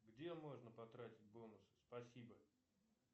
где можно потратить бонусы спасибо